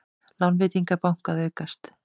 Lánveitingar banka að aukast